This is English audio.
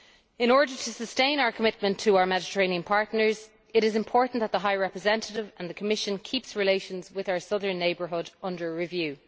In order to sustain our commitment to our Mediterranean partners, it is important that the High Representative and the Commission keep relations with our Southern Neighbourhood under review.